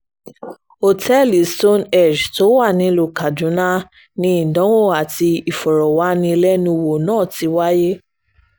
ọ̀tẹ́ẹ̀lì stone-hégbé tó wà nílùú kaduna ni ìdánwò àti ìfọ̀rọ̀wánilẹ́nuwò náà ti wáyé